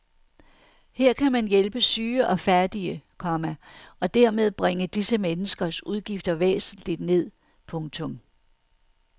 Her kan man hjælpe syge og fattige, komma og dermed bringe disse menneskers udgifter væsentligt ned. punktum